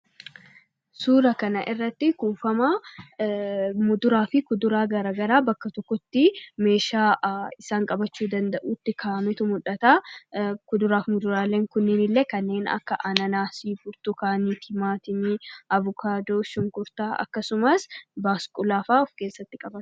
Suuraa kana irratti kuufama kuduraafi muduraa bakka totokkotti meshaa isaan qabachuu danda'uun ka'ametu mul'ataa. Kuduraaf muduraleen kun illee kannen akka Ananazii, Burtukanii, Timatimmii, Avukadoo, Shunkuurta, akkasumaas Basqullaafaa of keessatti qabata.